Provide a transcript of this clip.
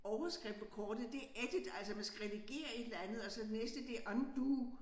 Overskrift på kortet det edit altså man skal redigere et eller andet og så næste det undo